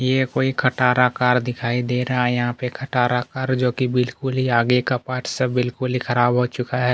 ये कोई खटारा कार दिखाई दे रहा है यहाँ पे खटारा कार जो कि बिलकुल आगे का पाटस सब बिलकुली खराब हो चुका है।